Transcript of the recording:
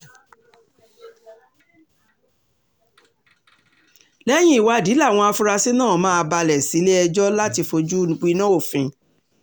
lẹ́yìn ìwádìí làwọn afurasí náà máa balẹ̀ sílẹ̀-ẹjọ́ láti fojú winá òfin